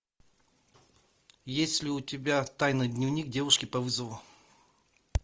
есть ли у тебя тайный дневник девушки по вызову